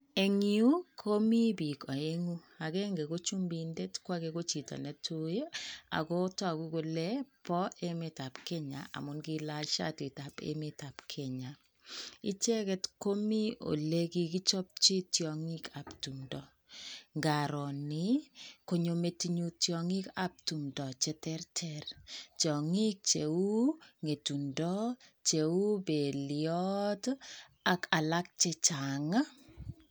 Eng yuu komii biik oeng'u akeng'e kochumindet kwakee kochito netuii akotoku kolee boemetab Kenya amun kailach siatitab emetab Kenya, icheket komii olekikichopchi tiong'ikab timndo, ng'aroo nii konyoo metinyun tiong'ikab timndo cheterter, tiong'ik cheuu ng'etundo, cheuu beliot ak alak chechang.